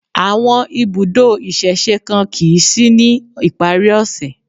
Àwọn ibùdó ìsẹ̀se kan kìí sí ní ìparí ọ̀ṣẹ̀